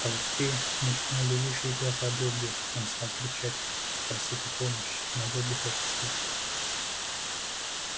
в толпе мелькнули уши и глаза добби он стал кричать ему просить о помощи но добби только сказал